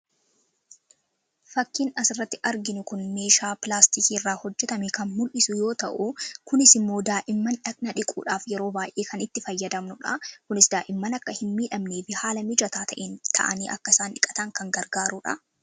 Fakkiin asirratti arginu kuni meeshaa pilaastikii irraa hojjetame kan mul'isu yoo ta'u, kunis immoo daa'imman dhagna dhiquudhaaf yeroo baay'ee kan itti fayyadamnudha. Kunis daa'imman akka hin miidhamnee fi haala mijataa ta'een taa'anii akka isaan dhiqatan kan gargaarudha.